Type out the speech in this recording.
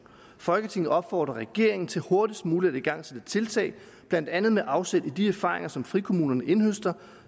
folketinget opfordrer regeringen til hurtigst muligt at igangsætte tiltag blandt andet med afsæt i de erfaringer som frikommunerne indhøster